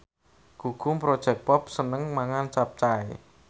Gugum Project Pop seneng mangan capcay